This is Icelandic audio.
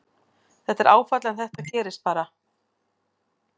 Þetta er áfall en þetta gerist bara.